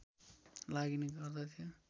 लगिने गर्दथ्यो